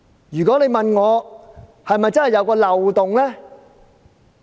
如果有人問我，《條例》是否真的有漏洞？